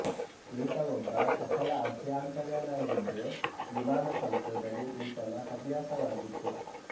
ಈತ ಒಬ್ಬ ಸಫಲ ಅಭಿಯಂತರನಾಗಿದ್ದು ವಿಮಾನ ಸಂಶೋಧನೆ ಈತನ ಹವ್ಯಾಸವಾಗಿತ್ತು